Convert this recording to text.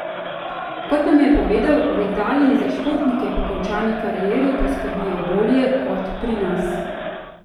Kot nam je povedal, v Italiji za športnike po končani karieri poskrbijo bolje kot pri nas.